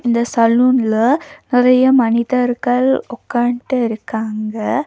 இந்த சலூன்ல நெறைய மனிதர்கள் உட்கான்டு இருக்காங்க.